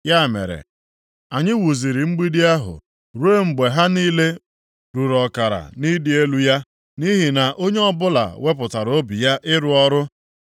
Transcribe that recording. Ya mere, anyị wuziri mgbidi ahụ ruo mgbe ha niile ruru ọkara nʼịdị elu ya, nʼihi na onye ọbụla wepụtara obi ya ịrụ ọrụ.